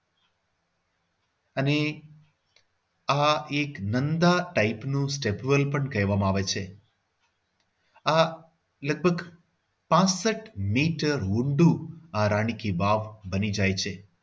અને આ એક નંદા type નું step well કહેવામાં આવે છે. આ લગભગ પાંસઠ મીટર ઊંડું રાણી કી વાવ બની જાય છે.